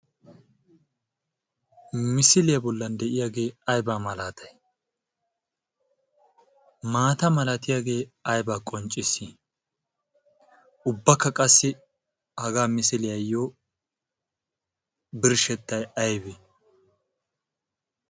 misiliyaa bollan de'iyaagee aiba malaatai maata malatiyaagee ayba qoncciss ubbakka qassi hagaa misiliyaayyo birshshettai aybee?